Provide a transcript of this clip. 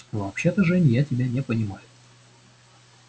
вообще-то жень я тебя не понимаю